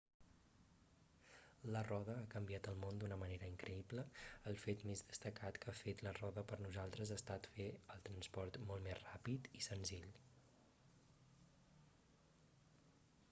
la roda ha canviat el món d'una manera increïble el fet més destacat que ha fet la roda per nosaltres ha estat fer el transport molt més ràpid i senzill